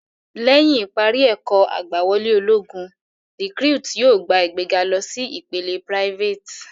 Lẹ́yìn ìparí ẹ̀kọ́ ìgbàwọlé ológun, recuit yóò gba ìgbéga lọ sí ìpele private.